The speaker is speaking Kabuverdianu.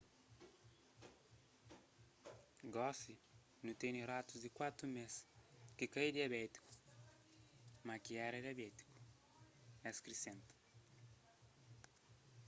gosi nu tene ratus di 4 mês ki ka é diabétiku ma ki éra diabétiku el krisenta